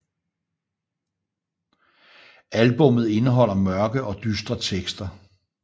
Albummet indeholder mørke og dystre tekster